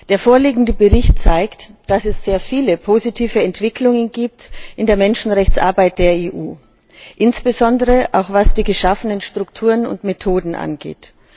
Der vorliegende Bericht zeigt, dass es sehr viele positive Entwicklungen in der Menschenrechtsarbeit der EU gibt, insbesondere auch was die geschaffenen Strukturen und Methoden angeht.